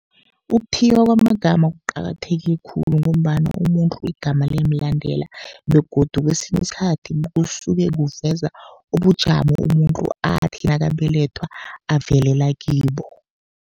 Ukuthiywa kwamagama kuqakatheke khulu, ngombana umuntu igama liyamlandela. Begodu kesinye isikhathi kusuke kuveza ubujamo, umuntu athi nakabelethwa avelela kibo.